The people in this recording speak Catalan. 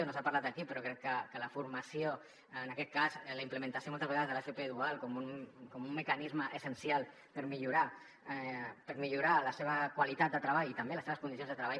no se n’ha parlat aquí però crec que la formació en aquest cas la implementació moltes vegades de l’fp dual com un mecanisme essencial per millorar la seva qualitat de treball i també les seves condicions de treball